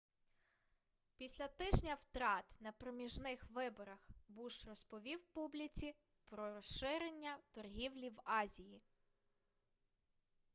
після тижня втрат на проміжних виборах буш розповів публіці про розширення торгівлі в азії